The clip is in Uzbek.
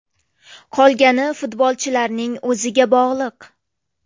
Qolgani futbolchilarning o‘ziga bog‘liq.